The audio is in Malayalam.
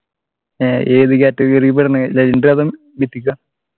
ഏർ ഏത് category പെടുന്നെ legendary അതോ mythic ആ